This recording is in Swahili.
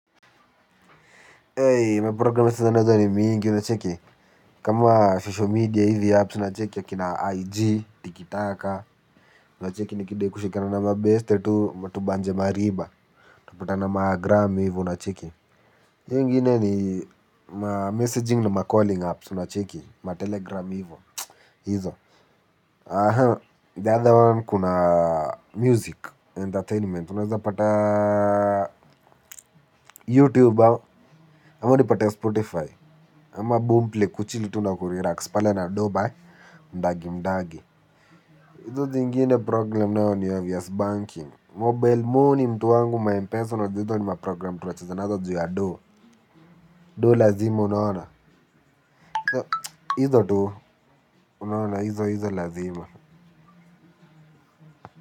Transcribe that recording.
Ey, maprogram sasa ni mingi, unacheki, kama social media hivi apps, unacheki akina IG, Tiki Taka, unacheki nikidai kushikana na mabeste tu tubanje mariba, tunapatana magram hivyo unacheki. Hiyo ingine ni ma messaging na ma calling apps, unacheki, ma telegram hivyo, hizo. Aha, the other one kuna music, entertainment, unaeza pata YouTube au ama nipate Spotify. Ama boomplay kuchili tu nakurilax pale nadoba mdagi mdagi. Hizo zingine program nao ni obvious, banking, Mobile money mtu wangu ma m-pesa unajua hizo ni maprogram tunacheza nazo juu ya dooh. Dooh lazima unaona. Hizo tu unaona hizo hizo lazima.